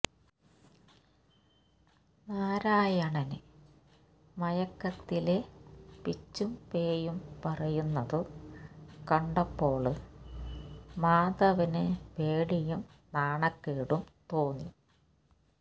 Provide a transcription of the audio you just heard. നാരായണന് മയക്കത്തില് പിച്ചുംപേയും പറയുന്നതു കണ്ടപ്പോള് മാധവന് പേടിയും നാണക്കേടും തോന്നി